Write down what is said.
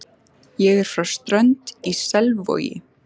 Ég er frá Strönd í Selvogi.